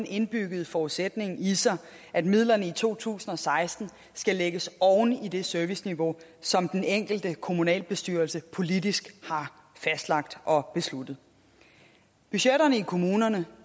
indbyggede forudsætning i sig at midlerne i to tusind og seksten skal lægges oven i det serviceniveau som den enkelte kommunalbestyrelse politisk har fastlagt og besluttet budgetterne i kommunerne